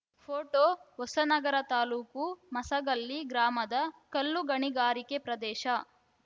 photo Hosanagara taluk Masagalli ಗ್ರಾಮದ ಕಲ್ಲುಗಣಿಗಾರಿಕೆ ಪ್ರದೇಶ